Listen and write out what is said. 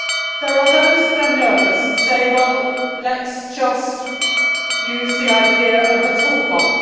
There are those who are nervous and say, well, let us just use the idea of a toolbox.